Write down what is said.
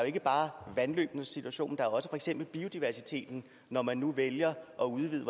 ikke bare vandløbenes situation der er også for eksempel biodiversiteten når man nu vælger at udvide